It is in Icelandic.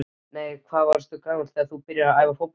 Nei Hvað varstu gamall þegar þú byrjaði að æfa fótbolta?